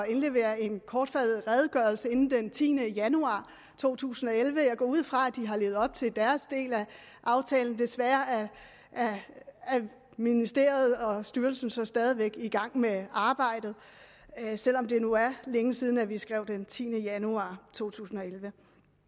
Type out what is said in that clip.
indlevere en kortfattet redegørelse inden den tiende januar to tusind og elleve jeg går ud fra at de har levet op til deres del af aftalen desværre er ministeriet og styrelsen så stadig væk i gang med arbejdet selv om det nu er længe siden at vi skrev den tiende januar to tusind og elleve